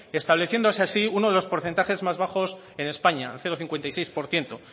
estableciéndose así unos de los porcentajes más bajos en españa el cero coma cincuenta y seis por ciento